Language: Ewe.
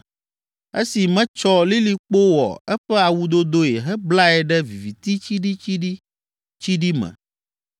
esi metsɔ lilikpo wɔ eƒe awudodoe heblae ɖe viviti tsiɖitsiɖitsiɖi me,